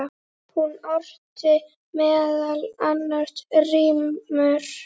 Hún orti meðal annars rímur.